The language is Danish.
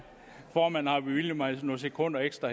formanden har bevilget mig nogle sekunder ekstra